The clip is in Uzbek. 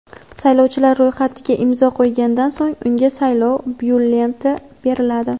saylovchilar ro‘yxatiga imzo qo‘ygandan so‘ng unga saylov byulleteni beriladi.